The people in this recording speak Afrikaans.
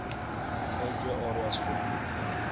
altwee areas voorkom